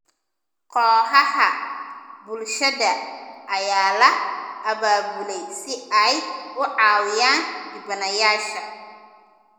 Kooxaha bulshada ayaa la abaabulay si ay u caawiyaan dhibanayaasha.